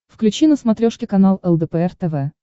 включи на смотрешке канал лдпр тв